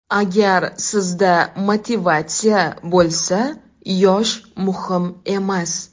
Agar sizda motivatsiya bo‘lsa, yosh muhim emas.